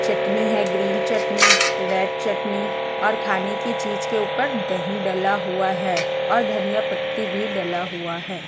चटनी है green chutney red chutney और खाने की चीज के ऊपर दही डला हुआ है और धनिया पत्ती भी डला हुआ है।